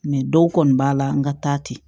dɔw kɔni b'a la n ka taa ten